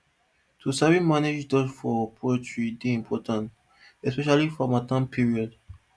to sabi manage dust for poultry dey important especially for hamattan period